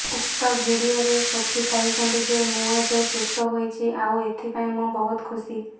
ଉକ୍ତ ଭିଡିଓରେ ସୋଫି କହିଛନ୍ତି ଯେ ମୁଁ ଏବେ ସୁସ୍ଥ ହୋଇଛି ଆଉ ଏଥିପାଇଁ ମୁଁ ବହୁତ ଖୁସି